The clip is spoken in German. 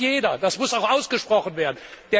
Das weiß jeder und das muss auch ausgesprochen werden.